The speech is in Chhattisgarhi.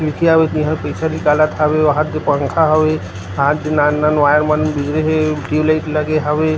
इति आबे ता इहा पइसा निकालत हावे वहाद पंखा हवे हा दे नान-नान वायर मन गुजरे हे टुबलाइट लगे हवे।